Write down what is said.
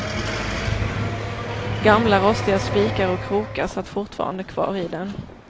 Gamla rostiga spikar och krokar satt fortfarande kvar i den.